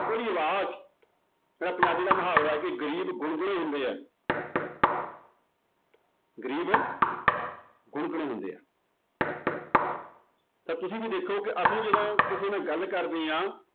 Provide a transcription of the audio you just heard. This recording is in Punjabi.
ਉਹਦੀ ਆਵਾਜ਼ ਜਿਹੜਾ ਪੰਜਾਬੀ ਦਾ ਮੁਹਾਵਰਾ ਹੈ ਕਿ ਗ਼ਰੀਬ ਗੁੰਗੇ ਹੁੰਦੇ ਹੈ ਗ਼ਰੀਬ ਗੁੰਗੇ ਹੁੰਦੇ ਆ ਤਾਂ ਤੁਸੀਂ ਵੀ ਦੇਖੋ ਕਿ ਅਸੀਂ ਜਦੋਂ ਕਿਸੇ ਨਾਲ ਗੱਲ ਕਰਦੇ ਹਾਂ